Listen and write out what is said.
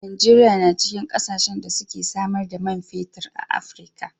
Najeriya na cikin kasashen da suke samar da man fetir a Afrika.